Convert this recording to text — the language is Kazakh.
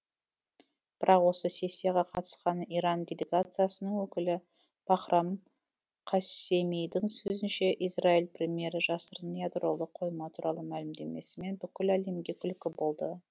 бірақ осы сессияға қатысқан иран делегациясының өкілі бахрам қассемидің сөзінше израиль премьері жасырын ядролық қойма туралы мәлімдемесімен бүкіл әлемге күлкі болды